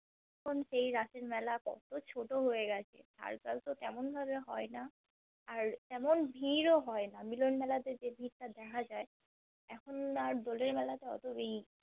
এখন সেই রাসের মেলা কতো ছোটো হয়ে গেছে, circus ও কেমন ভাবে হয় না আর সেমন ভিড়ও হয়না মিলন মেলাতে যেই ভিড় টা দেখা যায় এখন আর দোলের মেলা তে